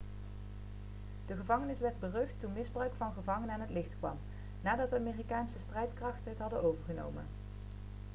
de gevangenis werd berucht toen misbruik van gevangenen aan het licht kwam nadat de amerikaanse strijdkrachten het hadden overgenomen